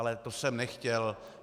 Ale to jsem nechtěl.